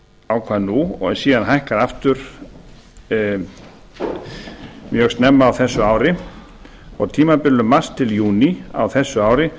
ákvað nú og síðan hækkað aftur mjög snemma á þessu ári á tímabilinu mars til júní á þessu ári